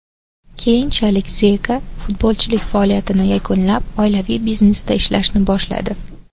Keyinchalik Zeka futbolchilik faoliyatini yakunlab, oilaviy biznesda ishlashni boshladi.